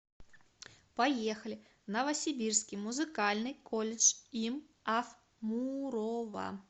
поехали новосибирский музыкальный колледж им аф мурова